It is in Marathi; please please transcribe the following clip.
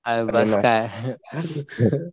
आरे बस काय